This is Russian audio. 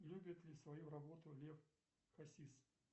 любит ли свою работу лев хасис